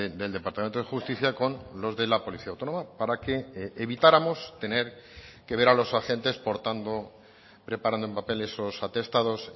del departamento de justicia con los de la policía autónoma para que evitáramos tener que ver a los agentes portando preparando en papel esos atestados